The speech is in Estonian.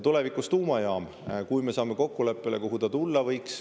Tulevikus tuumajaam, kui me saame kokkuleppele, kuhu ta tulla võiks.